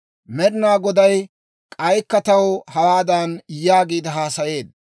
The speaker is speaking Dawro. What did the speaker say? Med'inaa Goday k'aykka taw hawaadan yaagiide haasayeedda;